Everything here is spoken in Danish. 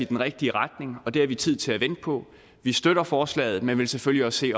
den rigtige retning og det har vi tid til at vente på vi støtter forslaget men vil selvfølgelig også se